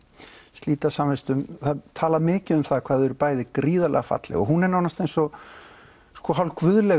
slíta samvistum það er talað mikið um það hvað þau eru gríðarlega falleg hún er nánast eins og